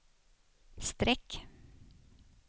streck